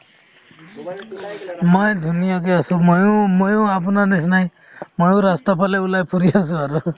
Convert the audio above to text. মই ধুনীয়াকে আছো ময়ো~ ময়ো আপোনাৰ নিচিনাই ময়ো ৰাস্তাৰফালে ওলাই ফুৰি আছো আৰু